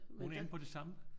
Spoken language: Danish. Hun er inde på det samme?